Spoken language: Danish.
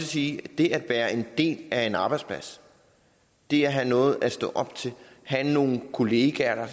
sige at det at være en del af en arbejdsplads det at have noget at stå op til at have nogle kollegaer der